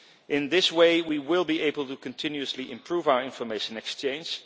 In this way, we will be able to continuously improve our information exchange.